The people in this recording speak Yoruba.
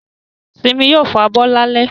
Simi yóò fabọ́ lálẹ́